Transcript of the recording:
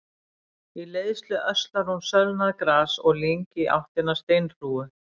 Í leiðslu öslar hún sölnað gras og lyng í áttina að steinhrúgu.